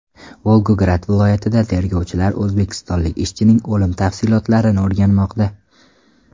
Volgograd viloyatida tergovchilar o‘zbekistonlik ishchining o‘limi tafsilotlarini o‘rganmoqda.